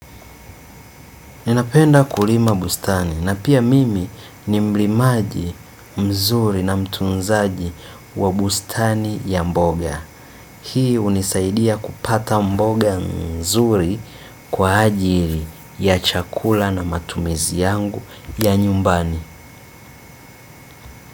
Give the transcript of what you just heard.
Ninapenda kulima bustani na pia mimi ni mlimaji mzuri na mtunzaji wa bustani ya mboga. Hii hunisaidia kupata mboga nzuri kwa ajili ya chakula na matumizi yangu ya nyumbani.